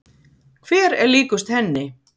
Hver er líkust henni?